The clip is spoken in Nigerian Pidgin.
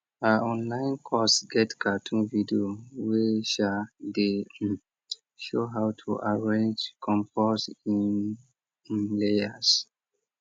her online course get cartoon video wey um dey um show how to arrange compost in um layers